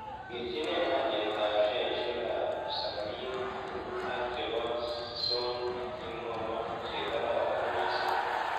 Kerchinen alyetap sheasiekap sameeer group ak che po sony ak imwawon che kararon misiing'